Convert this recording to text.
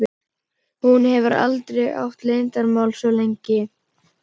Hún hefur aldrei átt leyndarmál svo lengi.